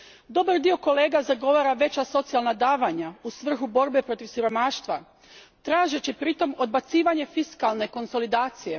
Dobar dio kolega zagovara veća socijalna davanja u svrhu borbe protiv siromaštva tražeći pritom odbacivanje fiskalne konsolidacije.